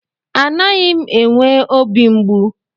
Anaghị m enwe obi mgbu.